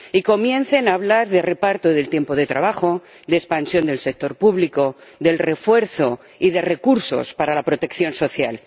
Y comiencen a hablar de reparto del tiempo de trabajo, de expansión del sector público, de refuerzo y de recursos para la protección social.